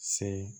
Se